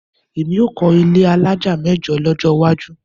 Èmi á kọ́ ilé alájà mẹ́jọ lọ́jọ́ iwájú